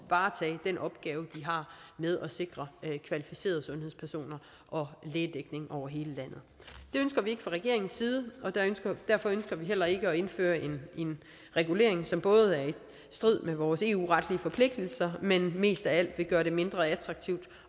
varetage den opgave de har med at sikre kvalificerede sundhedspersoner og lægedækning over hele landet det ønsker vi ikke fra regeringens side og derfor ønsker vi heller ikke at indføre en regulering som både er i strid med vores eu retlige forpligtelser men mest af alt vil gøre det mindre attraktivt